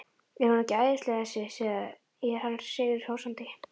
Er hún ekki æðisleg þessi? segir hann sigri hrósandi.